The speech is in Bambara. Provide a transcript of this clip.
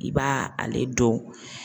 I b'a ale don.